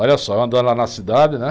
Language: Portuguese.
Olha só, eu andando lá na cidade, né?